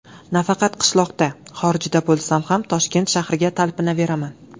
Nafaqat qishloqda, xorijda bo‘lsam ham Toshkent shahriga talpinaveraman.